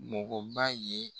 Mɔgɔ ba ye.